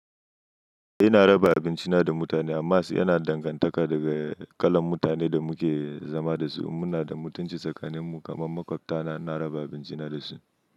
Eh, ina raba abinci na da mutane, amma sai yana dangantaka daga kalan mutanen da muke zama dasu. Muna da mutunci tsakanin mu, kamar makwabtaka na ina raba abincina tare dasu.